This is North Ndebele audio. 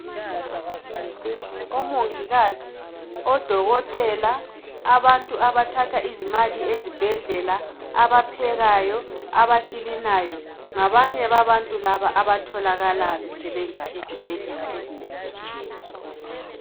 Omongikazi, odokotela, abantu abathatha izimali ezibhedlela, abaphekayo, abakilinayo, ngabanye babantu laba abatholakala besebenza ezibhedlela ezinengi ezitshiyeneyo.